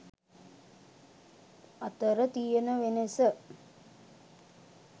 අතර තියන වෙනස.